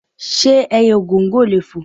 Ṣé ẹyẹ Ògòǹgò lè fò?